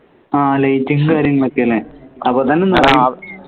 ആഹ് light കാര്യങ്ങളൊക്കെ അല്ലേ അപ്പോത്തന്നെ